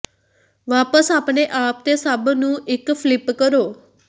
ਵਾਪਸ ਆਪਣੇ ਆਪ ਤੇ ਸਭ ਨੂੰ ਇੱਕ ਫਲਿਪ ਕਰੋ